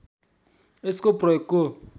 यसको प्रयोगको